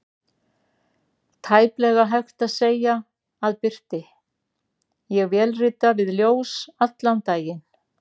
Tæplega hægt að segja að birti: ég vélrita við ljós allan daginn.